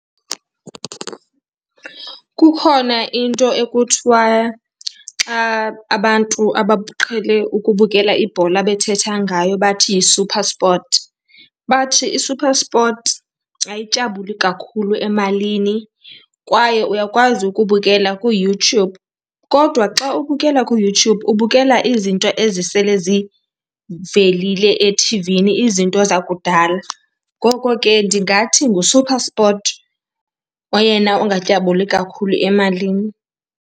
Kukhona into ekuthiwa, xa abantu abaqhele ukubukela ibhola bethetha ngayo bathi yiSuperSport, bathi iSuperSport ayityabuli kakhulu emalini. Kwaye uyakwazi ukubukela kuYoutube, kodwa xa ubukela kuYoutube ubukela izinto ezisele zivelile ethivini, izinto zakudala. Ngoko ke ndingathi nguSuperSport oyena ungatyabuli kakhulu emalini.